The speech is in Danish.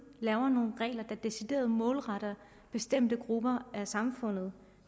laver man nogle regler der decideret er målrettet bestemte grupper i samfundet